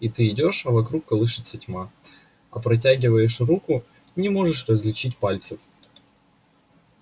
и ты идёшь а вокруг колышется тьма а протягиваешь руку не можешь различить пальцев